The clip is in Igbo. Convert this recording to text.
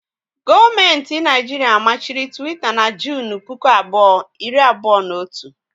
Gọọmenti Naijiria machiri Twitter na Junu puku abụọ, iri abụọ na otu